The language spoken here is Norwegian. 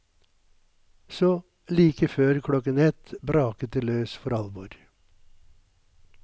Så, like før klokken ett, braket det løs for alvor.